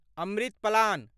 Amrit plan